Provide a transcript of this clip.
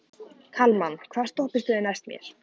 Kalman, hvaða stoppistöð er næst mér?